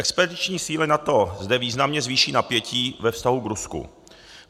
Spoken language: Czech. Expediční síly NATO zde významně zvýší napětí ve vztahu k Rusku.